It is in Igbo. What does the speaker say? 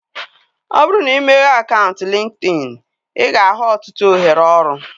Ọ bụrụ na imeghe akaụntụ LinkedIn, ị ga-ahụ ọtụtụ ohere ọrụ